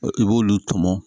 I b'olu tɔmɔ